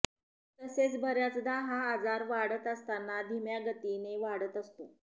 तसेच बऱ्याचदा हा आजार वाढत असताना धीम्या गतीने वाढत असतो